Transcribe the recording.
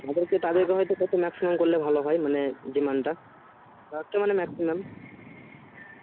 তাদের কে হয় তো প্রথমে এক সঙ্গে করলে ভালো হয় মানে বর্তমানে